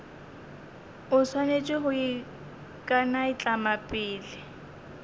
o swanetše go ikanaitlama pele